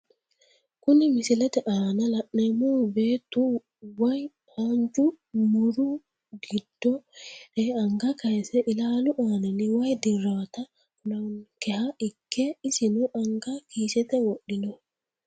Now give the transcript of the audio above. Kuni misilete aana la`nemohu beetu woyi haanja muro giddo heere anga kayise ilaalu aanini wayi dirawota kulawonkeha ikke isino anga kiisete wodhino.